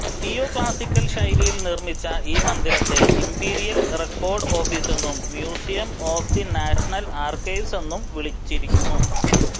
neoclassical ശൈലിയിൽ നിർമ്മിച്ച ഈ മന്ദിരത്തെ ഇംപീരിയൽ റെക്കോർഡ് ഓഫീസെന്നും മ്യൂസിയം ഓഫ് ദി നാഷണൽ ആർക്കൈവ്സെന്നും വിളിച്ചിരുന്നു